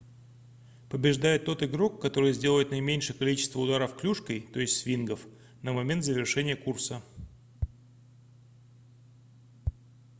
побеждает тот игрок который сделает наименьшее количество ударов клюшкой то есть свингов на момент завершения курса